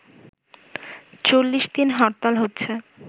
৪০ দিন হরতাল হচ্ছে